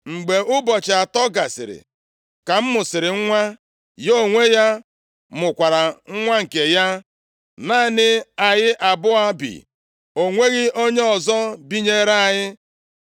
Mgbe ụbọchị atọ gasịrị ka m mụsịrị nwa, ya onwe ya mụkwara nwa nke ya. Naanị anyị abụọ bi, o nweghị onye ọzọ binyere anyị.